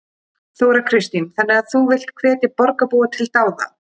Þóra Kristín: Þannig að þú villt hvetja borgarbúa til dáða?